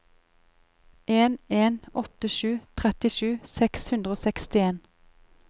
en en åtte sju trettisju seks hundre og sekstien